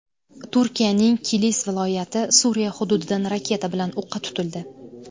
Turkiyaning Kilis viloyati Suriya hududidan raketa bilan o‘qqa tutildi.